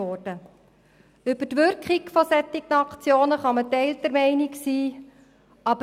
Über die Wirkung solcher Aktionen kann man geteilter Meinung sein.